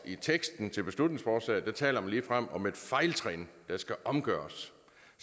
i teksten til beslutningsforslaget taler man ligefrem om et fejltrin der skal omgøres